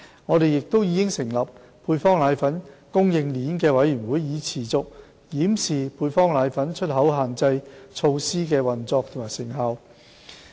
我們亦已成立配方粉供應鏈委員會，以持續檢視配方粉出口限制措施的運作及成效。